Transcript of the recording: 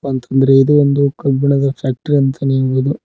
ಅಂತ ಅಂದ್ರೆ ಇದು ಒಂದು ಕಬ್ಬಿಣದ ಫ್ಯಾಕ್ಟರಿ ಅಂತನೇ ಹೇಳೋದು.